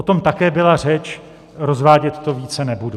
O tom také byla řeč, rozvádět to více nebudu.